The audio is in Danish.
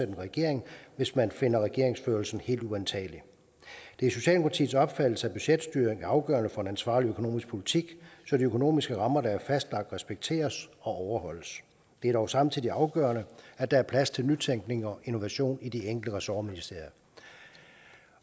en regering hvis man finder regeringsførelsen helt uantagelig det er socialdemokratiets opfattelse at budgetstyring er afgørende for en ansvarlig økonomisk politik så de økonomiske rammer der er fastlagt respekteres og overholdes det er dog samtidig afgørende at der er plads til nytænkning og innovation i de enkelte ressortministerier